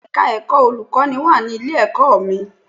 Bẹ́ẹ̀ni, Ẹ̀ka ẹ̀kọ́ olùkọ́ní wà ní ilé-ẹ̀kọ́ mi